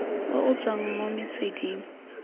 o o tswang mo metsweding